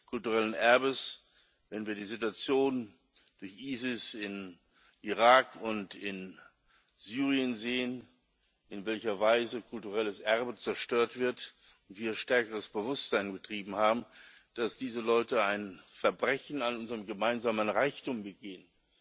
kulturellen Erbes, wenn wir die Situation durch ISIS in Irak und in Syrien sehen, in welcher Weise kulturelles Erbe zerstört wird wieder stärkeres Bewusstsein betrieben haben, dass diese Leute ein Verbrechen an unserem gemeinsamen Reichtum begehen.